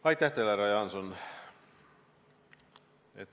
Aitäh teile, härra Jaanson!